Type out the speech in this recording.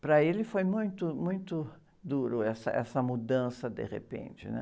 Para ele foi muito, muito duro essa, essa mudança de repente, né?